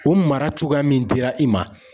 O mara cogoya min dira i ma